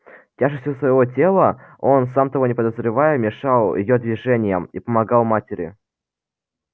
тяжестью своего тела он сам того не подозревая мешал её движениям и помогал матери